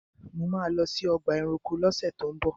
Mo ma lọ sí ọgbà ẹranko ni ọ̀sẹ̀ tó ń bọ̀.